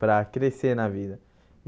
Para crescer na vida.